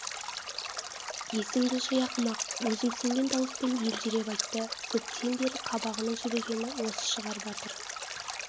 есіңді жи ақымақ өзімсінген дауыспен елжіреп айтты көптен бері қабағының жібігені осы шығар батыр